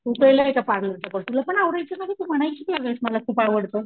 तू केलाय का पार्लर चा कोर्स तुला पण आवडायचं ना ग तू म्हणायची कि या वेळेस मला खूप आवडत.